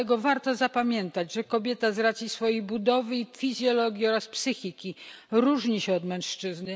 Dlatego warto zapamiętać, że kobieta z racji swojej budowy i fizjologii oraz psychiki różni się od mężczyzny.